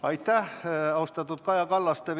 Aitäh, austatud Kaja Kallas!